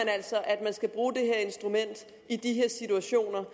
altså at man skal bruge det her instrument i de her situationer